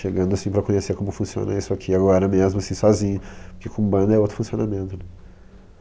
Chegando, assim, para conhecer como funciona isso aqui agora mesmo, assim, sozinho, porque com banda é outro funcionamento, né?